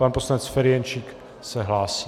Pan poslanec Ferjenčík se hlásí.